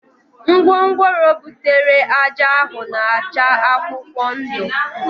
Ngwongworo butere ájá ahụ na-acha akwụkwọ ndụ